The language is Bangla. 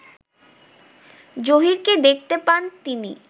জহীরকে দেখতে পান তিনি